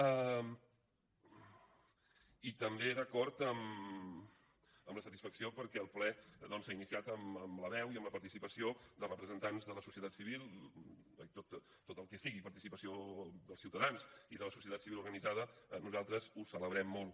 i també d’acord amb la satisfacció perquè el ple doncs s’ha iniciat amb la veu i amb la participació de representants de la societat civil tot el que sigui participació dels ciutadans i de la societat civil organitzada nosaltres ho celebrem molt